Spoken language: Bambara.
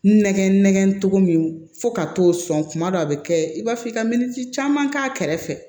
Nɛgɛn nɛgɛn togo min fo ka t'o sɔn kuma dɔw a be kɛ i b'a fɔ i ka minisi caman k'a kɛrɛfɛ